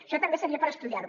això també seria per estudiar ho